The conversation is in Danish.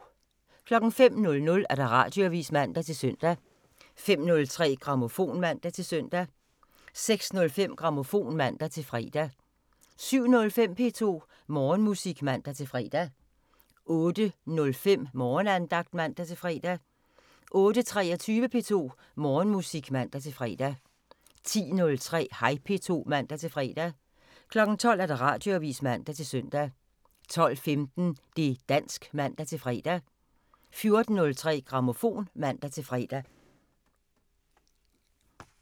05:00: Radioavisen (man-søn) 05:03: Grammofon (man-søn) 06:05: Grammofon (man-fre) 07:05: P2 Morgenmusik (man-fre) 08:05: Morgenandagten (man-fre) 08:23: P2 Morgenmusik (man-fre) 10:03: Hej P2 (man-fre) 12:00: Radioavisen (man-søn) 12:15: Det' dansk (man-fre) 14:03: Grammofon (man-fre)